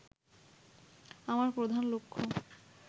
আমার প্রধান লক্ষ্য